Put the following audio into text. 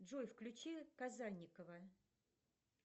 джой включи казанникова